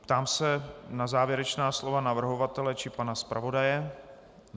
Ptám se na závěrečná slova navrhovatele či pana zpravodaje.